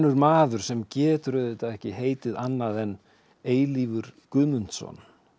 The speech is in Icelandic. maður sem getur auðvitað ekki heitið annað en eilífur Guðmundsson